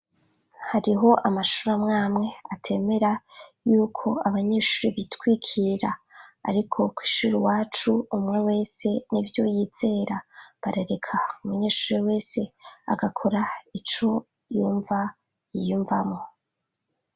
Hariho amashuri mwamwe atemera yuko abanyeshuri bitwikira ariko kw'ishuri iwacu umwe wese n'ibyo yizera barareka umunyeshuri wese agakora ico yumva yiyumvamo.